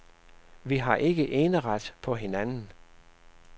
Vi har ikke eneret på hinanden.